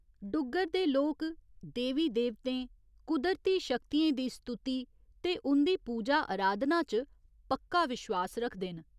डुग्गर दे लोक देवी देवतें, कुदरती शक्तियें दी स्तुति ते उं'दी पूजा आराधना च पक्का विश्वास रखदे न।